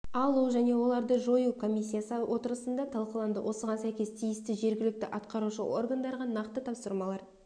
алу және оларды жою комиссиясы отырысында талқыланды осыған сәйкес тиісті жергілікті атқарушы органдарға нақты тапсырмалар